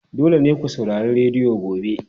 Dole ne ku saurari rediyo gobe!